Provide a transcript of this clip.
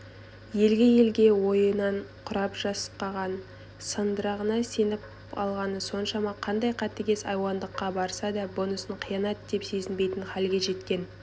елге-елге ойынан құрап-жасқаған сандырағына сеніп алғаны соншама қандай қатыгез айуандыққа барса да бұнысын қиянат деп сезінбейтін халге жеткен